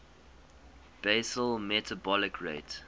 basal metabolic rate